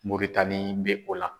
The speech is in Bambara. Moritani bɛ o la.